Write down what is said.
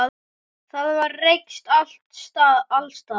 Það var reykt alls staðar.